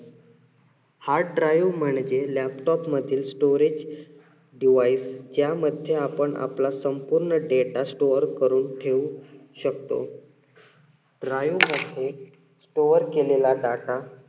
hard drive म्हणजे laptop मधील storage device च्या मध्ये आपण आपला संपूर्ण data store करून ठेऊ शकतो. मद्ध्ये store केलेला data